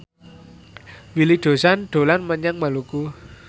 Willy Dozan dolan menyang Maluku